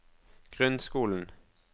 grunnskolen